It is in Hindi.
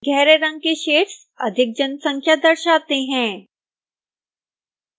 गहरे रंगे के शेड्स अधिक जनसंख्या दर्शाते हैं